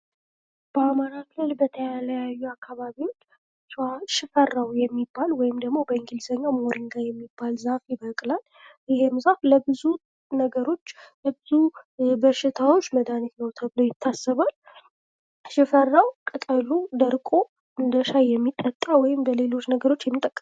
በአማራ ክልል በተለያዩ አካባቢዎች ሽፈራው የሚባል ወይም ደግሞ በእንግሊዝኛው "ሞሪንጋ" የሚባል ዛፍ ይበቅላል ። ይህን ዛፍ ለብዙ ነገሮች ፣ ለብዙ በሽታዎች መድኃኒት ነው ተብሎ ይታሰባል ። ሽፈራው ቅጠሉ ደርቆ እንደሻይ የሚጠጣ ወይም እንደሌሎች ነገሮች የሚጠቀም